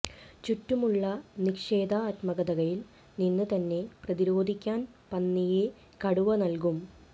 ചുറ്റുമുള്ള നിഷേധാത്മകതയിൽ നിന്ന് തന്നെ പ്രതിരോധിക്കാൻ പന്നിയെ കടുവ നൽകും